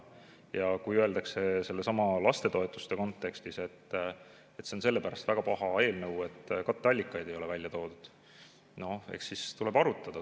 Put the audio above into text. Ja kui öeldakse sellesama lastetoetuse kontekstis, et see on sellepärast väga paha eelnõu, et katteallikaid ei ole välja toodud, eks siis tuleb arutada.